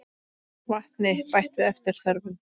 Vatni bætt við eftir þörfum.